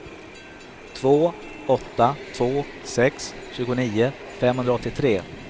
två åtta två sex tjugonio femhundraåttiotre